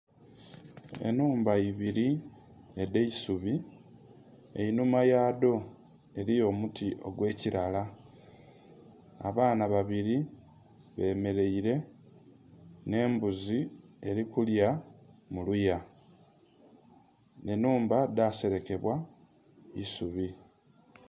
Ennhumba ibili edh'eisubi, einhuma yadho eliyo omuti ogwe kilaala. Abaana babiri bemeleire n'embuzi eli kulya muluya, enhumba dhaselekebwa isubi.